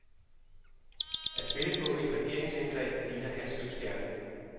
At spille på et regeringsindgreb ligner halsløs gerning.